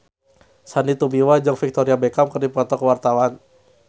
Sandy Tumiwa jeung Victoria Beckham keur dipoto ku wartawan